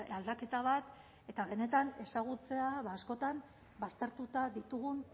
aldaketa bat eta benetan ezagutzea askotan baztertuta ditugun